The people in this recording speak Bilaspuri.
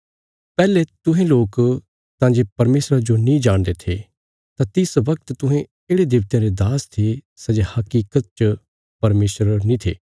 पैहले तुहें लोक तां जे परमेशरा जो नीं जाणदे थे तां तिस वगत तुहें येढ़े देबतयां रे दास थे सै जे हकीकत च परमेशर नीं थे